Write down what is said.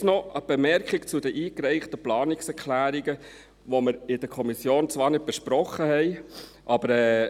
Jetzt noch eine Bemerkung zu den eingereichten Planungserklärungen, die wir in der Kommission zwar nicht besprochen haben.